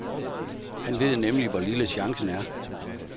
Han ved nemlig, hvor lille chancen er.